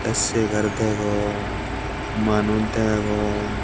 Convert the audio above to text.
tay chair dagong manush dagong.